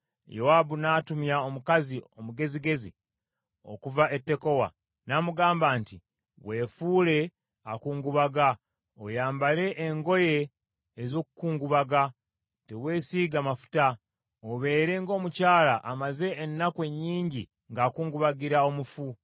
Yowaabu n’atumya omukazi omugezigezi okuva e Tekowa, n’amugamba nti, “Weefuule akungubaga, oyambale engoye ez’okukungubaga, teweesiiga mafuta, obeere ng’omukyala amaze ennaku ennyingi ng’akungubagira omufu.